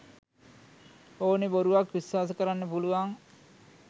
ඕනේ බොරුවක් විස්වාස කරන්න පුළුවන්